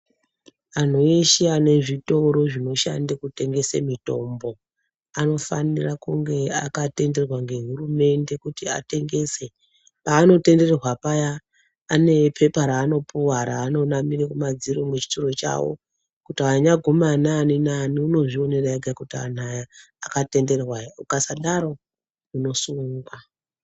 Anhu eshe ane zvitoro zvinoshande kutengese mitombo anofanira kunge akatenderwa ngehurumende kuti atengese. Paanotenderwa paya ane pepa raanopuhwa raanonamire kumadziro muchitoro chavo kuti wanyaguma nani nani unozvionera ega kuti anhu aya akatenderwa ere. Ukasadaro, unosungwa!